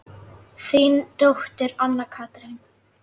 Þín dóttir, Anna Katrín.